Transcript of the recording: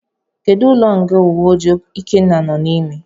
Kedu ụlọ nga uwe ojii ikenna no n'ime.